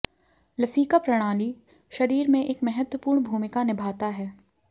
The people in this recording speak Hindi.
लसीका प्रणाली शरीर में एक महत्वपूर्ण भूमिका निभाता है